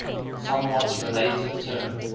somewhat related term